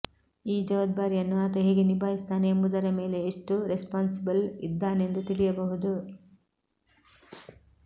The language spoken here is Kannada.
ಈ ಜವಾಬ್ದಾರಿಯನ್ನು ಆತ ಹೇಗೆ ನಿಭಾಯಿಸುತ್ತಾನೆ ಎಂಬುದರ ಮೇಲೆ ಎಷ್ಟು ರೆಸ್ಪಾನ್ಸಿಬಲ್ ಇದ್ದಾನೆಂದು ತಿಳಿಯಬಹುದು